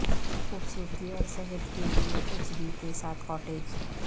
خوبصورتی اور صحت کے لئے ایچ بی کے ساتھ کاٹیج